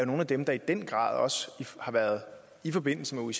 nogle af dem der i den grad også i forbindelse med